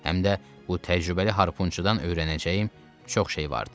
Həm də bu təcrübəli harpunçudan öyrənəcəyim çox şey vardı.